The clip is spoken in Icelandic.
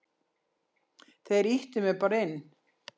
Þeir ýttu mér bara inn.